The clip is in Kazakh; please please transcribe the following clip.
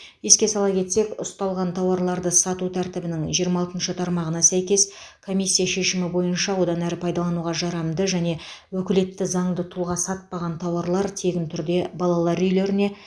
еске сала кетсек ұсталған тауарларды сату тәртібінің жиырма алтыншы тармағына сәйкес комиссия шешімі бойынша одан әрі пайдалануға жарамды және өкілетті заңды тұлға сатпаған тауарлар тегін түрде балалар үйлеріне